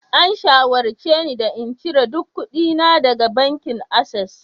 An shawarce ni da in cire duk kuɗina daga bankin access